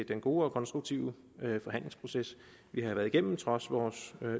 den gode og konstruktive forhandlingsproces vi har været igennem trods vores